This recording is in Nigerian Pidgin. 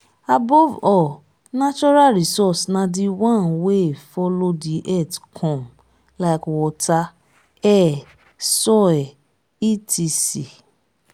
above all natural resource na the one wey follow the earth come like water air soil etc.